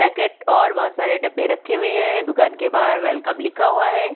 Packet और बहुत सारे डब्बे रक्खे हुए है दुकान के बाहर वेलकम लिखा हुआ है।